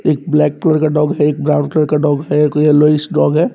एक black colour का dog है एक ब्राउन कलर का डॉग है एक येलोविश डॉग है।